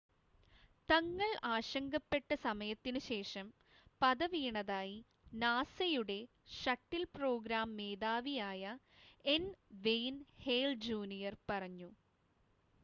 " തങ്ങൾ ആശങ്കപ്പെട്ട സമയത്തിനുശേഷം" പത വീണതായി നാസയുടെ ഷട്ടിൽ പ്രോഗ്രാം മേധാവിയായ എൻ. വെയിൻ ഹേൽ ജൂനിയർ പറഞ്ഞു.